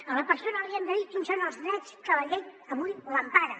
a la persona li hem de dir quins són els drets que la llei avui l’emparen